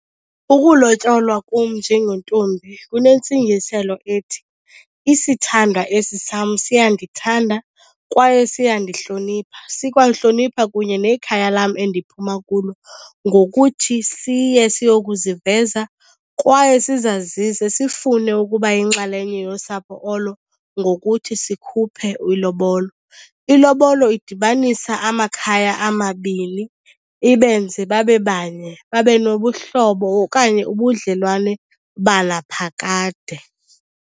Ukulotyolwa kum njengentombi kunentsingiselo ethi isithandwa esi sam siyandithanda kwaye siyandihlonipha. Sikwalihlonipha kunye nekhaya lam endiphuma kulo ngokuthi siye siyokuziveza kwaye sizazise sifune ukuba yinxalenye yosapho olo ngokuthi sikhuphe ilobolo. Ilobolo idibanisa amakhaya amabini ibenze babe banye, babe nobuhlobo okanye ubudlelwane banaphakade.